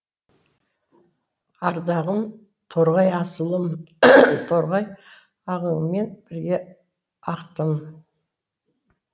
ардағым торғай асылым торғай ағыныңмен бірге ақтым